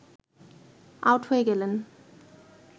out হয়ে গেলেন